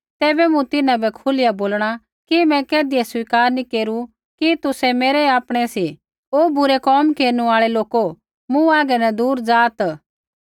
तैबै मूँ तिन्हां बै खुलिया बोलणा कि मैं कैधियै स्वीकार नी केरू कि तुसै मेरै आपणै सी ओ बुरै कोम केरनु आल़ै लोको मूँ हागै न दूर ज़ाआत्